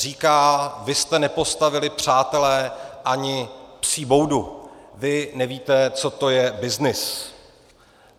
Říká: vy jste nepostavili, přátelé, ani psí boudu, vy nevíte, co to je byznys.